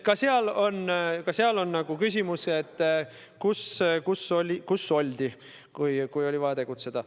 Ka seal on küsimus, et kus oldi, kui oli vaja tegutseda.